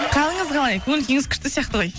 қалыңыз қалай көңіл күйіңіз күшті сияқты ғой